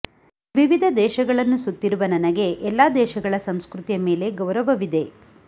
ವಿವಿಧ ದೇಶಗಳನ್ನು ಸುತ್ತಿರುವ ನನಗೆ ಎಲ್ಲ ದೇಶಗಳ ಸಂಸ್ಕೃತಿಯ ಮೇಲೆ ಗೌರವವಿದೆ